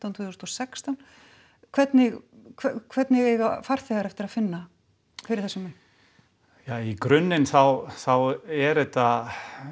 tvö þúsund og sextán hvernig hvernig eiga farþegar eftir að finna fyrir þessum mun ja í grunninn þá þá er þetta